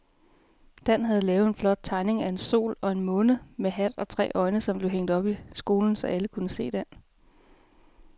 Dan havde lavet en flot tegning af en sol og en måne med hat og tre øjne, som blev hængt op i skolen, så alle kunne se den.